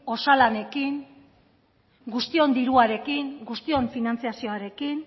osalanekin guztion diruarekin guztion finantzazioarekin